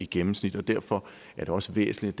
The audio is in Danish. gennemsnittet derfor er det også væsentligt